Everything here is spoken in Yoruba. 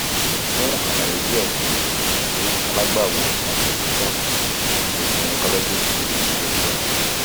fun alaye diẹ sii kan si alagbawo obstetrician ati gynecologist lori ayelujara